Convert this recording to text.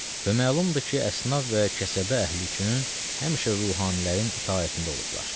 Və məlumdur ki, əsnaf və kəsəbə əhli üçün həmişə ruhanilərin itaətində olublar.